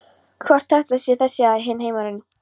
Hvort þetta sé þessi eða hinn heimurinn.